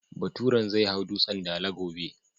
Baturen zai hau Dutsen Dala gobe.